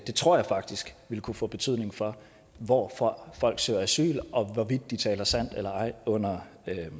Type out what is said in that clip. det tror jeg faktisk ville kunne få betydning for hvor hvor folk søger asyl og hvorvidt de taler sandt eller ej under